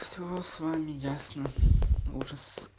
все с вами ясно ужас